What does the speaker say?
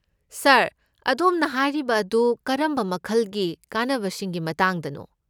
ꯁꯥꯔ, ꯑꯗꯣꯝꯅ ꯍꯥꯏꯔꯤꯕ ꯑꯗꯨ ꯀꯔꯝꯕ ꯃꯈꯜꯒꯤ ꯀꯥꯟꯅꯕꯁꯤꯡꯒꯤ ꯃꯇꯥꯡꯗꯅꯣ?